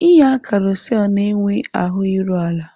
Ịnya karosel na-enwe ahụ iru ala.